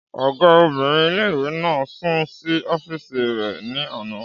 Ọgá obìnrin ilé-ìwé náà sùn sí ọ́fìsì rẹ̀ ní àná